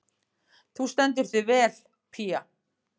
Þú stendur þig vel, Pía!